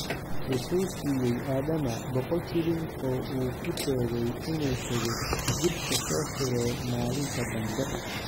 Wuxuu siiyey Adama boqol shilin oo u sheegay inuu tago jirka soo xiro maalinta dambe.